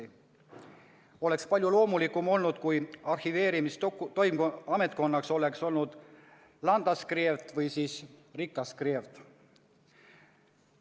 Oleks olnud palju loomulikum, kui arhiveerinud oleks Landsarkivet või Riksarkivet.